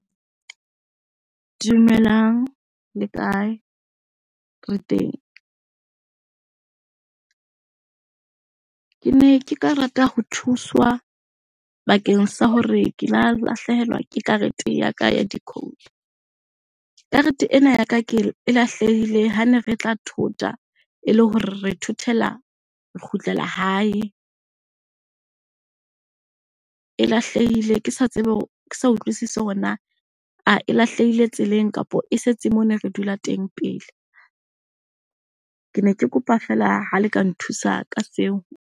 Dumelang le kae? Re teng. Ke ne ke ka rata ho thuswa bakeng sa hore ke la lahlehelwa ke karete ya ka ya decoder. Karete ena ya ke, e lahlehile ha ne re tla thota e le hore re thothela, re kgutlela hae. E lahlehile ke sa tsebe ke sa utlwisise hore na e lahlehile tseleng kapa e setse moo ne re dula teng pele. Ke ne ke kopa feela ha le ka nthusa ka seo.